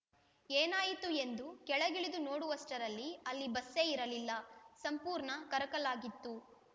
ಏನಾಯಿತು ಎಂದು ಕೆಳಗಿಳಿದು ನೋಡುವಷ್ಟರಲ್ಲಿ ಅಲ್ಲಿ ಬಸ್ಸೇ ಇರಲಿಲ್ಲ ಸಂಪೂರ್ಣ ಕರಕಲಾಗಿತ್ತು